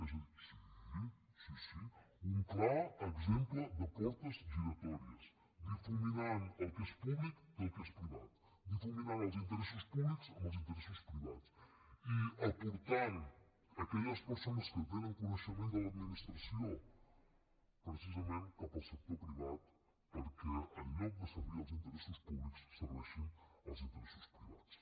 és a dir sí sí sí un clar exemple de portes giratòries difuminant el que és públic del que és privat difuminant els interessos públics amb els interessos privats i aportant aquelles persones que tenen coneixement de l’administració precisament cap al sector privat perquè en lloc de servir els interessos públics serveixin els interessos privats